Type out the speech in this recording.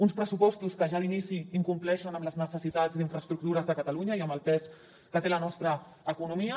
uns pressupostos que ja d’inici incompleixen amb les necessitats d’infraestructures de catalunya i amb el pes que té la nostra economia